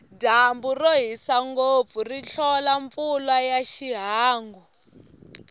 dyambu rohisa ngopfu ri hlola mpfula ya ihangu